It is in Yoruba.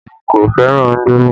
Èmi kò fẹ́ràn indomi